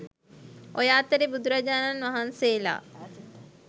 ඔය අතරේ බුදුරජාණන් වහන්සේලා